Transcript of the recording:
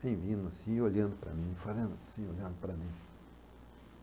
Vindo assim, olhando para mim, fazendo assim, olhando para mim.